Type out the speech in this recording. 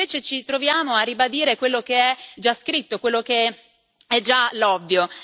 E invece ci troviamo a ribadire quello che è già scritto, quello che è già l'ovvio.